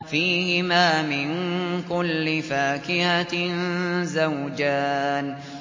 فِيهِمَا مِن كُلِّ فَاكِهَةٍ زَوْجَانِ